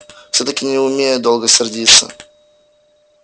всё-таки не умею долго сердиться